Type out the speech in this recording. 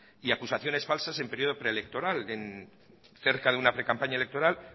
y acusaciones falsas en el periodo pre electoral cerca de una precampaña electoral